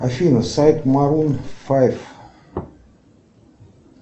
афина сайт марун файв